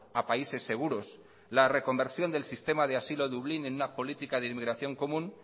a países seguros la reconversión del sistema de asilo dublín en una política de inmigración común